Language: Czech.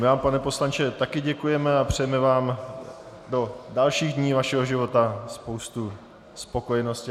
My vám, pane poslanče, také děkujeme a přejeme vám do dalších dní vašeho života spoustu spokojenosti.